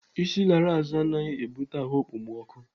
Isi lara azụ anaghị ebute ahụ ekpomọkụ.